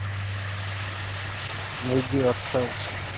найди арт хаус